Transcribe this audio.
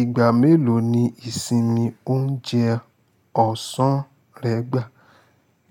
Ìgbà mélòó ni ìsinmi ń jẹ ọ̀sán rẹ gbà?